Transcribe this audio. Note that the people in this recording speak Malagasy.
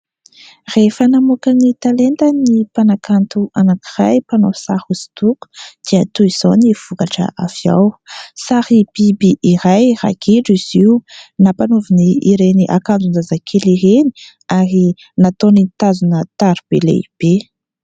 Rehefa namoaka ny talentany ny mpanakanto anankiray, mpanao sary hosodoko, dia toy izao ny vokatra avy ao : sary biby iray, ragidro izy io, nampanaoviny ireny akanjon-jazakely ireny, ary nataony nitazina taroby lehibe.